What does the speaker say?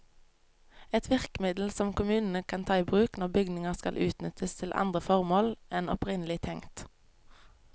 Et virkemiddel som kommunene kan ta i bruk når bygninger skal utnyttes til andre formål enn opprinnelig tenkt.